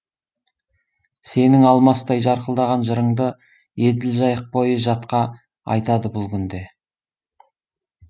сенің алмастай жарқылдаған жырыңды еділ жайық бойы жатқа айтады бұл күнде